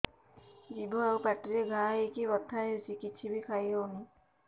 ଜିଭ ଆଉ ପାଟିରେ ଘା ହେଇକି ବଥା ହେଉଛି କିଛି ବି ଖାଇହଉନି